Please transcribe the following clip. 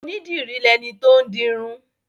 Onídìrí lẹni tó ń dirun.